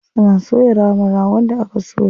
Suna soya naman ragon da aka soya.